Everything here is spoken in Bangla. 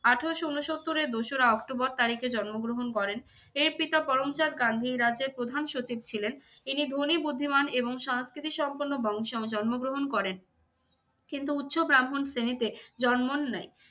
আঠেরোশো ঊনসত্তরের দোসরা অক্টোবর তারিখে জন্মগ্রহণ করেন। এর পিত পরমচাঁদ গান্ধী এই রাজ্যের প্রধান সচিব ছিলেন। ইনি ধনী বুদ্ধিমান এবং সাংস্কৃতিক সম্পন্ন বংশে জন্মগ্রহণ করেন। কিন্তু উচ্চ ব্রাহ্মণ শ্রেণীতে জন্মান নাই।